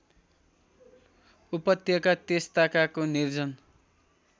उपत्यका त्यसताकाको निर्जन